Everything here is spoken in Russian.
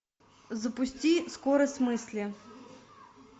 запусти скорость мысли